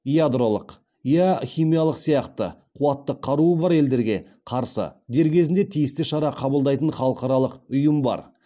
ядролық иә химиялық сияқты қуатты қаруы бар елдерге қарсы дер кезінде тиісті шара қабылдайтын халықаралық ұйым бар